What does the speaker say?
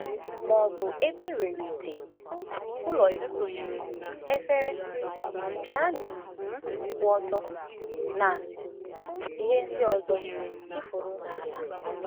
Ma ọ bụ ebe e nwere ite, ụlọikwuu, efere, piánu um kwụ ọtọ, na ihe ndị ọzọ tụfuru n’ala.